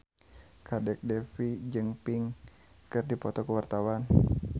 Kadek Devi jeung Pink keur dipoto ku wartawan